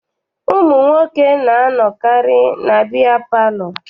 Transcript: Ụmụ nwoke na-anọkarị na biya palọ.